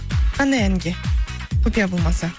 қандай әнге құпия болмаса